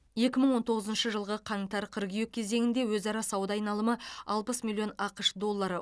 екі мың он тоғызыншы жылғы қаңтар қыркүйек кезеңінде өзара сауда айналымы алпыс миллион ақш доллары